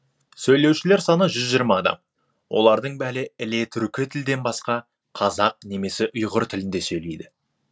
сөйлеушілер саны жүз жиырма адам олардың бәрі іле түркі тілден басқа қазақ немесе ұйғыр тілінде сөйлейді